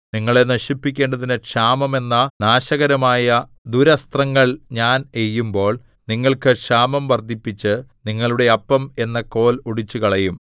നിങ്ങളെ നശിപ്പിക്കേണ്ടതിന് ക്ഷാമം എന്ന നാശകരമായ ദുരസ്ത്രങ്ങൾ ഞാൻ എയ്യുമ്പോൾ നിങ്ങൾക്ക് ക്ഷാമം വർദ്ധിപ്പിച്ച് നിങ്ങളുടെ അപ്പം എന്ന കോൽ ഒടിച്ചുകളയും